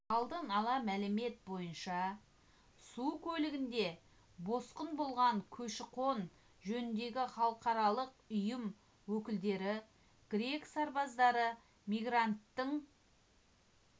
алдын ала мәлімет бойынша су көлігінде босқын болған көші-қон жөніндегі халықаралық ұйым өкілдері грек сарбаздары мигранттың